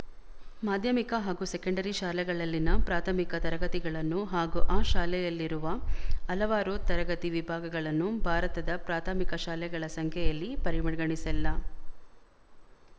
ಮಾಧ್ಯಮಿಕ ಹಾಗೂ ಸೆಕೆಂಡರಿ ಶಾಲೆಗಳಲ್ಲಿನ ಪ್ರಾಥಮಿಕ ತರಗತಿಗಳನ್ನು ಹಾಗೂ ಆ ಶಾಲೆಯಲ್ಲಿರುವ ಹಲವಾರು ತರಗತಿ ವಿಭಾಗಗಳನ್ನು ಭಾರತದ ಪ್ರಾಥಮಿಕ ಶಾಲೆಗಳ ಸಂಖ್ಯೆಯಲ್ಲಿ ಪರಿಗಣಿಸಲ್ಲ